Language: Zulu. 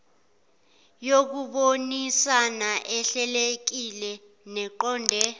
yokubonisana ehlelekile neqonde